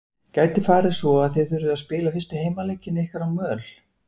Gæti farið svo að þið þurfið að spila fyrstu heimaleiki ykkar á möl?